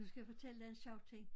Nu skal jeg fortælle dig en sjov ting